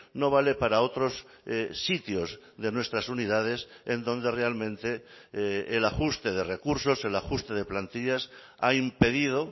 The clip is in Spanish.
no vale para otros sitios de nuestras unidades en donde realmente el ajuste de recursos el ajuste de plantillas hay un pedido